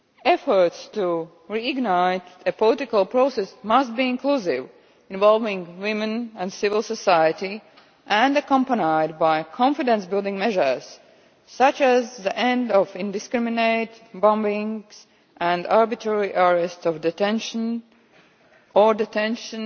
Efforts to reignite a political process must be inclusive, involving women and civil society, and must be accompanied by confidence building measures such as the end of indiscriminate bombing and arbitrary arrest or detention,